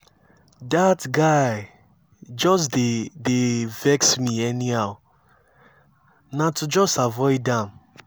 that guy just dey dey vex me anyhow na to just avoid am